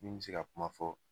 Min me se ka kuma fɔ